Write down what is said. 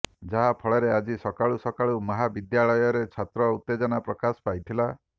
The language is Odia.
ଯାହା ଫଳରେ ଆଜି ସକାଳୁ ସକାଳୁ ମହାବିଦ୍ୟାଳୟରେ ଛାତ୍ର ଉତ୍ତେଜନା ପ୍ରକାଶ ପାଇଥିଲା